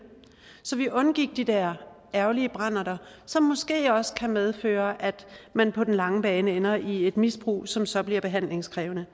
så vi undgik de der ærgerlige branderter som måske også kan medføre at man på den lange bane ender i et misbrug som så bliver behandlingskrævende